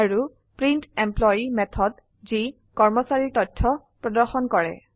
আৰু print employee method যি কৰ্মচাৰীৰ তথ্য প্ৰদৰ্শন কৰে